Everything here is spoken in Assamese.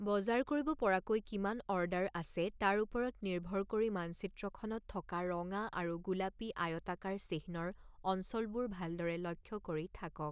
বজাৰ কৰিব পৰাকৈ কিমান অৰ্ডাৰ আছে তাৰ ওপৰত নিৰ্ভৰ কৰি মানচিত্ৰখনত থকা ৰঙা আৰু গোলাপী আয়তাকাৰ চিহ্নৰ অঞ্চলবোৰ ভালদৰে লক্ষ্য কৰি থাকক।